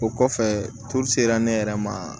O kɔfɛ sera ne yɛrɛ ma